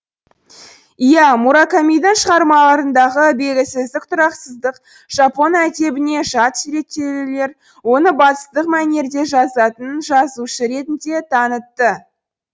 иә муракамидің шығармаларындағы белгісіздік тұрақсыздық жапон әдебіне жат суреттеулер оны батыстық мәнерде жазатын жазушы ретінде танытты